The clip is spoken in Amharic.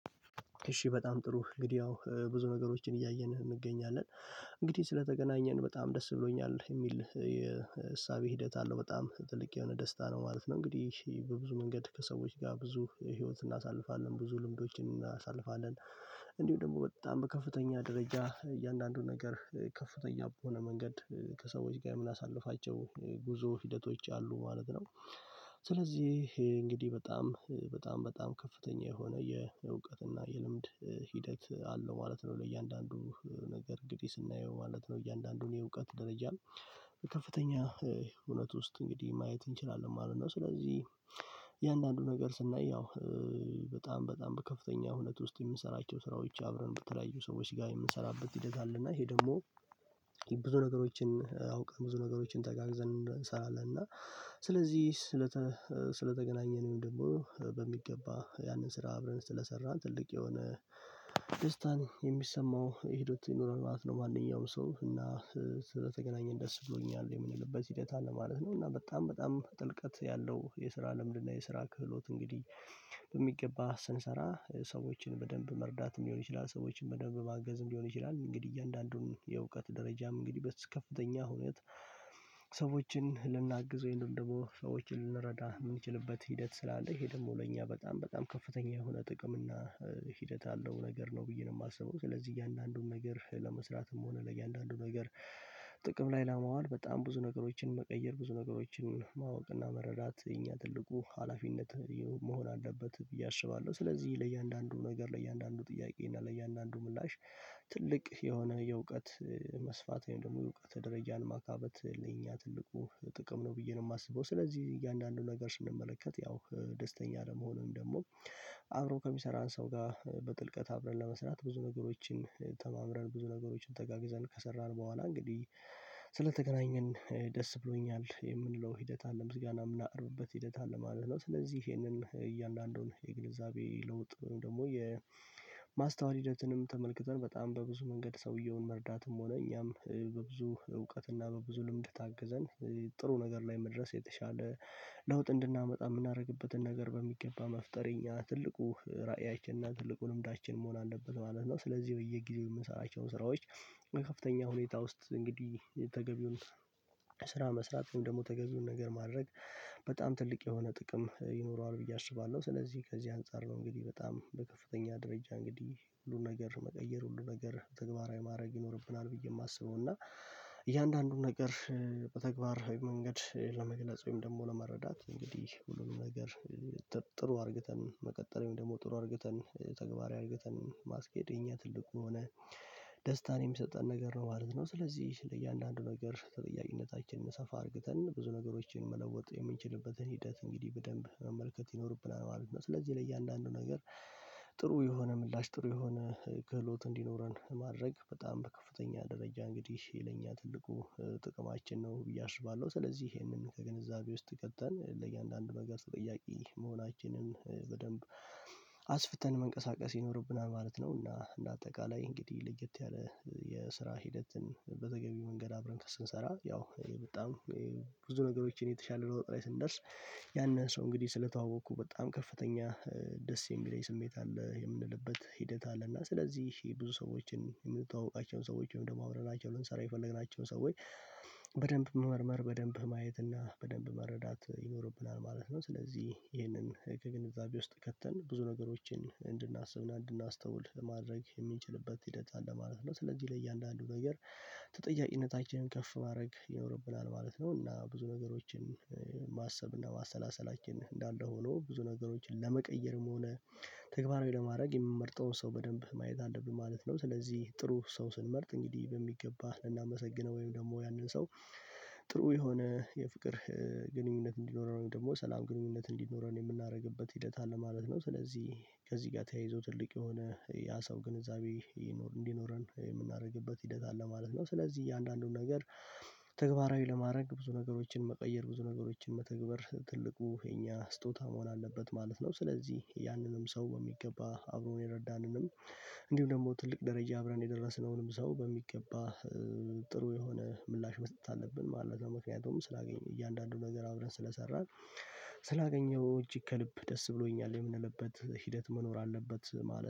እሺ በጣም ጥሩ እንግዲህ ያው ብዙ ነገሮችን እያየን እንገኛለን እንግዲህ ስለተገናኘን በጣም ደስ ብሎኛል የሚል የእሳቤ ሂደት አለው በጣም ጥልቅ የሆነ ደስታ ነው ማለት ነው። እንግዲህ በብዙ መንገድ ከሰዎች ጋር ብዙ የህይወት እናሳልፋለን ብዙ ልምዶችን እናሳልፋለን እንዲሁ ደግሞ በጣም በከፍተኛ ደረጃ እያንዳንዱን ነገር ከፍተኛ በሆነ መንገድ ከሰዎች ጋር የምናሳልፋቸው ጉዞ ሂደቶች አሉ ማለት ነው። ስለዚህ እንግዲህ በጣም በጣም በጣም ከፍተኛ የሆነ የእውቀት እና የልምድ ሂደት አለው ማለት ነው። ለእያንዳንዱ ነገር እንግዲህ ስናየው ማለት ነው እያንዳንዱን የእውቀት ደረጃ ከፍተኛ እውነት ውስጥ እንግዲህ ማየት እንችላለን ማለት ነው። ስለዚህ የእያንዳንዱ ነገር ስናየው በጣም በጣም ከፍተኛ ሁኔታ ውስጥ የምንሰራቸው ስራዎች አብረን በተለያዩ ሰዎች ጋር የምንሰራበት ሂደት አለ። እና ይሄ ደግሞ ብዙ ነገሮችን አውቀን ብዙ ነገሮችን ተጋግዘን እንሰራለን። እና ስለዚህ ስለተገናኘን ደግሞ በሚገባ ያንን ስራ አብረን ስለሰራን ትልቅ የሆነ ደስታን የሚሰማው ሄደት ይኖራል ማለት ነው። ማንኛውም ሰው እና ስለተገናኘን ደስ ብሎኛል የምንልበት ሂደት አለ ማለት ነው። እና በጣም በጣም ጥልቀት ያለው የስራ ልምድ እና የስራ ክህሎት እንግዲህ በሚገባ ስንሰራ ሰዎችን በደንብ መርዳትም ሊሆን ይችላል። ሰዎችን መደንብ ማገዝም ሊሆን ይችላል። እንግዲህ እያንዳንዱን የእውቀት ደረጃም እንግዲህ በከፍተኛ ሁኔታ ሰዎችን ልናግዝ ወይም ደግሞ ሰዎችን ልንረዳ የምንችልበት ሂደት ስላለ ይሄ ደግሞ ለእኛ በጣም በጣም ከፍተኛ የሆነ ጥቅም እና ሂደት ያለው ነገር ነው ብዬ ነው የማስበው። ስለዚህ እያንዳንዱን ነገር ለመስራትም ሆነ ለእያንዳንዱ ነገር ጥቅም ላይ ለማዋል በጣም ብዙ ነገሮችን መቀየር ብዙ ነገሮችን ማወቅና መረዳት እኛ ትልቁ ሀላፊነት መሆን አለበት ብዬ አስባለሁ። ስለዚህ ለእያንዳንዱ ነገር ለእያንዳንዱ ጥያቄ እና ለእያንዳንዱ ምላሽ ትልቅ የሆነ የእውቀት መስፋት ወይም ደግሞ የእውቀት ደረጃን ማካበት ለኛ ትልቁ ጥቅም ነው ብዬ ነው የማስበው። ስለዚህ እያንዳንዱን ነገር ስንመለከት ያው ደስተኛ ለመሆንም ደግሞ አብሮ ከሚሰራን ሰው ጋር በጥልቀት አብረን ለመስራት ብዙ ነገሮችን ተማምረን ብዙ ነገሮችን ተጋግዘን ከሰራን በኋላ እንግዲህ ስለተገናኘን ደስ ብሎኛል የምንለው ሂደት አለ ምስጋና የምናውቅበት ሂደት አለ ማለት ነው። ስለዚህ ይሄንን እያንዳንዱን የግንዛቤ ለውጥ ወይም ደግሞ የማስተዋል ሂደትንም ተመልክተን በጣም በብዙ መንገድ ሰውየውን መርዳትም ሆነ እኛም በብዙ እውቀትና በብዙ ልምድ ታግዘን ጥሩ ነገር ላይ መድረስ የተሻለ ለውጥ እንድናመጣ የምናደርግበትን ነገር በሚገባ መፍጠሪያ ትልቁ ራእያችንና ትልቁ ልምዳችን መሆን አለበት ማለት ነው። ስለዚህ በየጊዜው የምንሰራቸው ስራዎች ከፍተኛ ሁኔታ ውስጥ እንግዲህ ተገቢውን ስራ መስራት ደግሞ ተገቢውን ነገር ማድረግ በጣም ትልቅ የሆነ ጥቅም ይኖረዋል ብዬ አስባለሁ። ስለዚህ ከዚህ አንፃር ነው እንግዲህ በጣም በከፍተኛ ደረጃ እንግዲህ ሁሉን ነገር መቀየር ሁሉ ነገር ተግባራዊ ማረግ ይኖርብናል ብዬ የማስበው እና እያንዳንዱን ነገር በተግባር መንገድ ለመግለጽ ወይም ደግሞ ለመረዳት እንግዲህ ሁሉንም ነገር ጥሩ አርግተን መቀጠል ወይም ደግሞ ጥሩ አርግተን ተግባራዊ አርገተን ማስኬድ የኛ ትልቁ የሆን ደስታን የሚሰጠን ነገር ነው። ማለት ነው ስለዚህ ለእያንዳንዱ ነገር ተጠያቂነታችንን ሰፋ አርግተን ብዙ ነገሮችን መለወጥ የምንችልበትን ሂደት እንግዲህ በደንብ መመልከት ይኖርብናል ማለት ነው። ስለዚህ ለእያንዳንዱ ነገር ጥሩ የሆነ ምላሽ ጥሩ የሆነ ክህሎት እንዲኖረን ማድረግ በጣም በከፍተኛ ደረጃ እንግዲህ ለእኛ ትልቁ ጥቅማችን ነው። ብዬ አስባለሁ ስለዚህ ይሄንን ከግንዛቤ ውስጥ ከተን ለእያንዳንዱ ነገር ተጠያቂ መሆናችንን በደንብ አስፍተን መንቀሳቀስ ይኖርብናል ማለት ነው። እና እንደ አጠቃላይ እንግዲህ ለየት ያለ የስራ ሂደትን በተገቢው መንገድ አብረን ከስንሰራ ያው በጣም ብዙ ነገሮችን የተሻለ ለውጥ ላይ ስንደርስ ያንን ሰው እንግዲህ ስለተዋወቅኩ በጣም ከፍተኛ ደስ የሚለኝ ስሜት አለ የምንልበት ሂደት አለ። እና ስለዚህ ብዙ ሰዎችን የምንተዋወቃቸውን ሰዎችን አብረናቸውን ልንሰራ የፈለግናቸው ሰዎች በደንብ መመርመር በደንብ ማየት እና በደንብ መረዳት ይኖርብናል ማለት ነው። ስለዚህ ይህንን በቂ ግንዛቤ ውስጥ ከተን ብዙ ነገሮችን እንድናስብ እንድናስተውል ለማድረግ የሚችልበት ሂደት አለ ማለት ነው። ስለዚህ ላይ እያንዳንዱ ነገር ተጠያቂነታችንን ከፍ ማድረግ ይኖርብናል ማለት ነው። እና ብዙ ነገሮችን ማሰብ እና ማሰላሰላችን እንዳለ ሆኖ ብዙ ነገሮችን ለመቀየርም ሆነ ተግባር ለማድረግ የምንመርጠውን ሰው በደንብ ማየት አለብን ማለት ነው። ስለዚህ ጥሩ ሰው ስንመርጥ እንግዲህ በሚገባ ልናመሰግነው ወይም ደግሞ ያንን ሰው ጥሩ የሆነ የፍቅር ግንኙነት እንዲኖረው ወይም ደግሞ ሰላም ግንኙነት እንዲኖረን የምናደርግበት ሂደት አለ ማለት ነው። ስለዚህ ከዚህ ጋር ተያይዞ ትልቅ የሆነ ያ ሰው ግንዛቤ እንዲኖረን የምናደርግበት ሂደት አለ ማለት ነው። ስለዚህ እያንዳንዱን ነገር ተግባራዊ ለማድረግ ብዙ ነገሮችን መቀየር ብዙ ነገሮችን መተግበር ትልቁ የኛ ስጦታ መሆን አለበት ማለት ነው። ስለዚህ ያንንም ሰው በሚገባ አብሮን የረዳንንም እንዲሁ ደግሞ ትልቅ ደረጃ አብረን የደረስነውንም ሰው በሚገባ ጥሩ የሆነ ምላሽ መስጠት አለብን ማለት ነው። ምክንያቱም ስላገኘን እያንዳንዱን ነገር አብረን ስለሰራን ስላገኘሁ እጅግ ከልብ ደስ ብሎኛል የምንለበት ሂደት መኖር አለበት ማለት